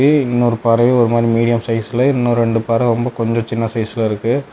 இன்னொரு பறவை ஒரு மாரி மீடியம் சைஸ்ல இன்னும் ரெண்டு பறவை கொஞ்சம் சின்ன சைஸா இருக்கு.